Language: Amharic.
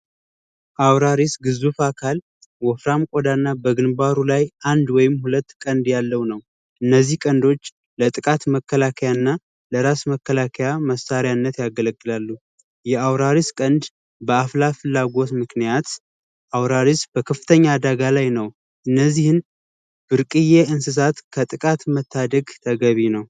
አውራሪስ ግዙፍ አካል ውፍረት ቆዳና በግንባሩ ላይ አንድ ወይም ሁለት ቀንድ ያለው ነው እነዚህ ቀልዶች ለጥቃት መከላከያና ለራስ መከላከያ መሳርያነት ያገለግላሉ የአውራሪስ ቀንድ በአፍላፍላጎት ምክንያት አውራሪስ በከፍተኛ ነው እነዚህን ብርቅዬ እንስሳት ከጥቃት መታደግ ተገቢ ነው